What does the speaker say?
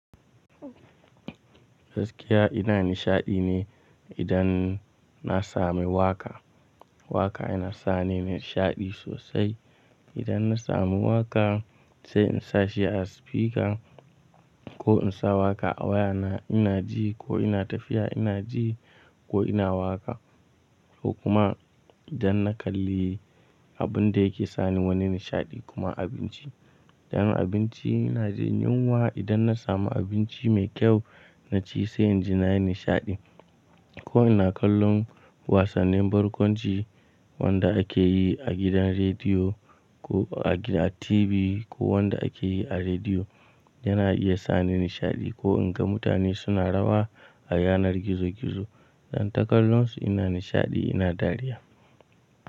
Gaskiya ina nishaɗi ne, idan na samu waƙa. Waƙa yana sa ni nishaɗi sosai. Idan na samu waƙa, sai in sa shi a spika ko in sa waƙa a wayana ina ji, ko ina tafiya ina ji, ko ina waƙa. Ko kuma idan na kalli abun da yake sa ni wani nishaɗi kuma abinci. Dan abinci ina jin yunwa idan na samu abinci mai kyau na ci sai inji nayi nishaɗi ko ina kallon wasannin barkwanci, wanda ake yi a gidan rediyo, ko a TV ko wanda ake yi a rediyo yana iya sa ni nishaɗi ko in ga mutane suna rawa a yanar gizo gizo. Zan ta kallonsu ina nishaɗi ina dariya.